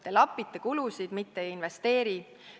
Te lapite kulusid, mitte ei investeeri.